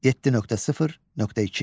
7.0.2.